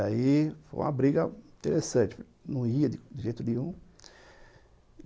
Aí, foi uma briga interessante, não ia de jeito nenhum.